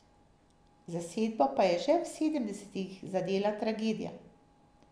Zasedbo pa je že v sedemdesetih zadela tragedija.